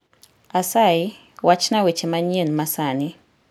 Asayi wachna weche manyien masani